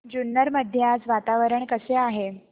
जुन्नर मध्ये आज वातावरण कसे आहे